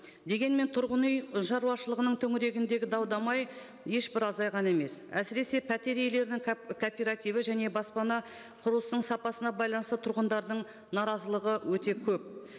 дегенмен тұрғын үй шаруашылығының төңірегіндегі дау дамай ешбір азайған емес әсіресе пәтер иелерінің кооперативі және баспана құрылыстың сапасына байланысты тұрғындардың наразылығы өте көп